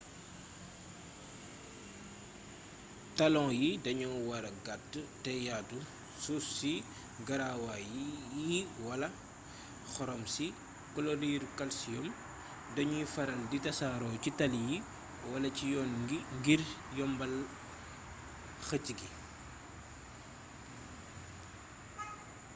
talon yi dañoo wara gàtt te yaatu. suuf si garawaa yi wala xorom si kloriiru kalsiyoom dañuy faral di tasaaroo ci tali yi wala ci yoon wi ngir yombal xëcc gi